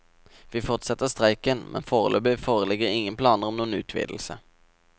Vi fortsetter streiken, men foreløpig foreligger ingen planer om noen utvidelse.